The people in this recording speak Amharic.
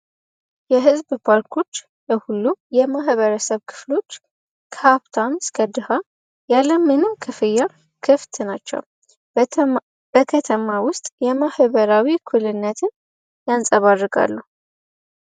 የህዝብ ፓርኮች ሁሉም የማህበረሰብ ክፍሎች ከሀፕታውን ስከድሃ ያለምንም ክፍየር ክፍት ናቸው። በከተማ ውስጥ የማህበራዊ እኩልነትን ያንጸባርጋሉ።